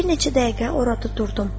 Bir neçə dəqiqə orada durdum.